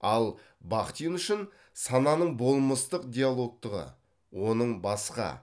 ал бахтин үшін сананың болмыстық диалогтығы оның басқа